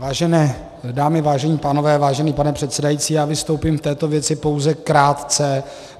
Vážené dámy, vážení pánové, vážený pane předsedající, já vystoupím v této věci pouze krátce.